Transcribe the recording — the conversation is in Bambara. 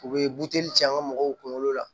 U bɛ buteli cɛ an ka mɔgɔw kunkolo la